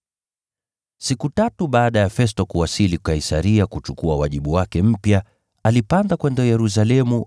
Siku tatu baada ya Festo kuwasili Kaisaria kuchukua wajibu wake mpya, alipanda kwenda Yerusalemu,